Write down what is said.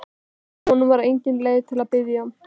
En honum var engin leið að biðja.